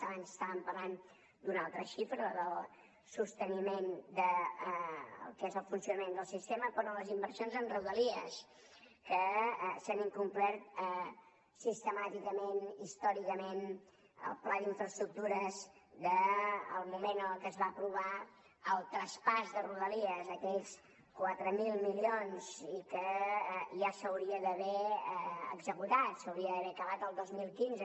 abans estàvem parlant d’una altra xifra la del sosteniment del que és el funcionament del sistema però les inversions en rodalies que s’han incomplert sistemàticament històricament el pla d’infraestructures del moment en el que es va aprovar el traspàs de rodalies aquells quatre mil milions i que ja s’hauria d’haver executat s’hauria d’haver acabat el dos mil quinze